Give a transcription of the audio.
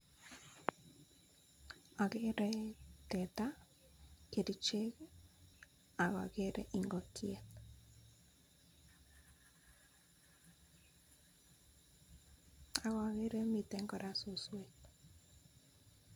Agere teta, kerichek ak ageere ingokiet.(longpause)ak ageere kora mitten suswek.